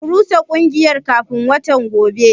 Ku rusa kungiyar kafin watan gobe.